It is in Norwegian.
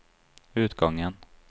utgangen